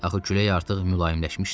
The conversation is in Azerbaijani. Axı külək artıq mülayimləşmişdi.